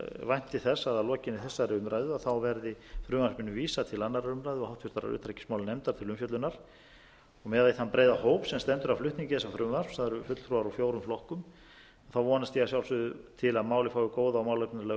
vænti þess að að lokinni þessari umræðu verði frumvarpinu vísað til annarrar umræðu og háttvirtrar utanríkismálanefndar til umfjöllunar miðað við þann breiða hóp sem stendur að flutningi þessa frumvarps það eru fulltrúar úr fjórum flokkum vonast ég að sjálfsögðu til að málið fái góða og málefnalega